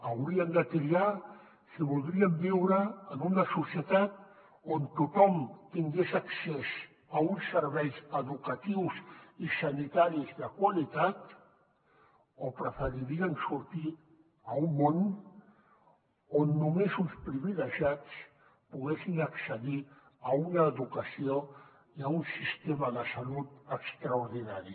haurien de triar si voldrien viure en una societat on tothom tingués accés a uns serveis educatius i sanitaris de qualitat o preferirien sortir a un món on només uns privilegiats poguessin accedir a una educació i a un sistema de salut extraordinari